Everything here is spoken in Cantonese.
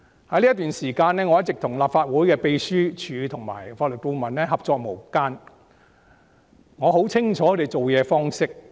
在這段時間，我一直與立法會秘書處職員及法律顧問合作無間，很清楚他們的做事方式及思維。